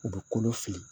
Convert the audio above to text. U bɛ kolo fili